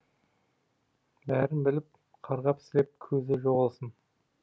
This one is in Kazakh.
бәрін біліп қарғап сілеп көзі жоғалсын